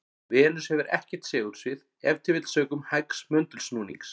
Venus hefur ekkert segulsvið, ef til vill sökum hægs möndulsnúnings.